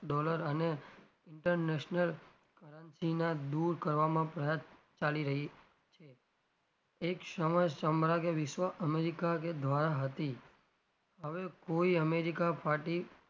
dollar અને international currency દુર કરવામાં પ્રયાસ ચાલી રહી છે એક સમયે america કે ધ્વારા હતી હવે કોઈ america ફાટી,